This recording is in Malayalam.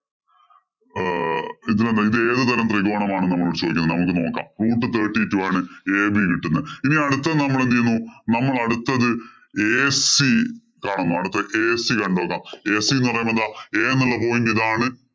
അഹ് ഇത് ന്ന് പറഞ്ഞു കഴിഞ്ഞാല് ഇത് ഏതു തരം ത്രികോണമാണ് നമ്മളോട് ചോദിച്ചത് ന്ന് നമുക്ക് നോക്കാം. root thirty two ആണ് ad കിട്ടുന്നത് ഇനി അടുത്തത് നമ്മെളെന്ത് ചെയ്യുന്നു. ഇനി അടുത്തത് ac കാണുന്നു. അടുത്തത് ac കണ്ടു നോക്കാം ac ന്ന് പറയുന്നത് എന്താ a എന്നുള്ള point ഇതാണ്.